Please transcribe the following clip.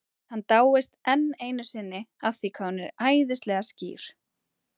Hann dáist enn einu sinni að því hvað hún er æðislega skýr.